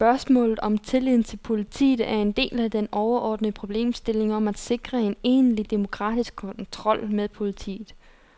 Spørgsmålet om tilliden til politiet er en del af den overordnede problemstilling om at sikre en egentlig demokratisk kontrol med politiet.